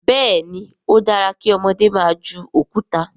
béèni o dára kí ọmọdé má jù Òkúta.